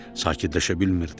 Sakitləşə bilmirdi.